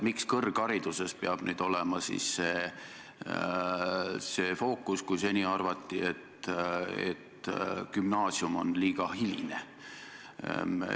Miks peab fookus olema kõrgharidusel, kui seni arvati, et ka gümnaasium on liiga hiline?